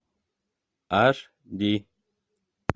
аш ди